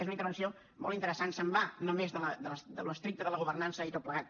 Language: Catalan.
és una intervenció molt interessant se’n va només d’allò estricte de la governança i tot plegat